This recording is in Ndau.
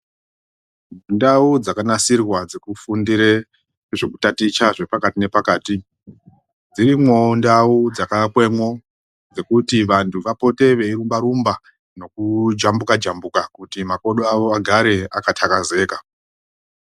Ndau dzakanasirwa dzekufundire zvekutaticha zvepakati nepakati, dzirimwoo ndau dzakaakwemwo dzekuti vantu vapote veirumba-rumba nekujambuka-jambuka, kuti makodo avo agare akathakazeka.